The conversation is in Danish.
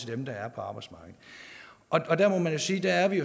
dem der er på arbejdsmarkedet og der må man jo sige at vi